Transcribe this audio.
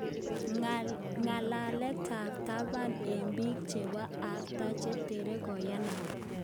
Ng'alalet ab taban eng biik chebo erta che ter koyanat?